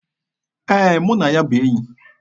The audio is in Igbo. Ee, mụ na ya bụ enyi.